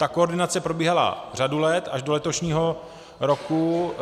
Ta koordinace probíhala řadu let, až do letošního roku.